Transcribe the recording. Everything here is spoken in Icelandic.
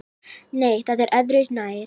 Nei, það er öðru nær!